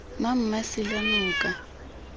mmamasilanoka